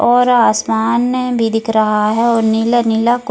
और आसमान भी दिख रहा है और नीला नीला को --